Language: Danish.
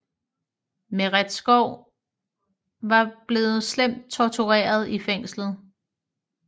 Meretskov var blevet slemt tortureret i fængslet